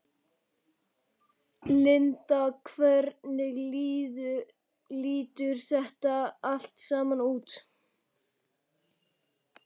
Linda hvernig lítur þetta allt saman út?